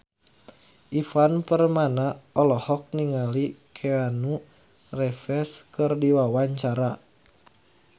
Ivan Permana olohok ningali Keanu Reeves keur diwawancara